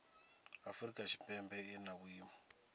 afrika tshipembe i na vhuimo